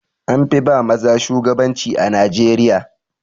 An fi ba maza shugabanci a Najeriya.